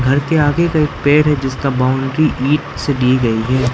घर के आगे का एक पेड़ है जिसका बाउंड्री ईट से दी गई है।